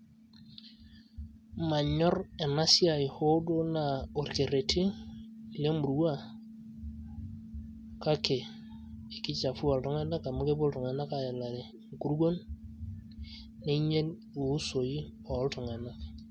Manyor enasiai hoo duo naa orkerreti lemurua, kake kichafua iltung'anak amu kepuo iltung'anak aelare nkuruon, neinyel iusoi oltung'anak.